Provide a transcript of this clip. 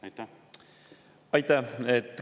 Aitäh!